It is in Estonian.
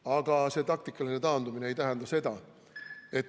Aga taktikaline taandumine ei tähenda seda, ...